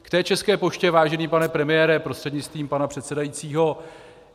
K té České poště, vážený pane premiére prostřednictvím pana předsedajícího.